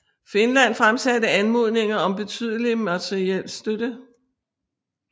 Finland fremsatte anmodninger om betydelig materiel støtte